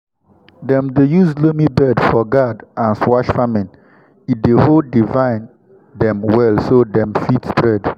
dem dey use loamy bed for gourd and squash farming e dey hold di vine dem well so dem fit spread.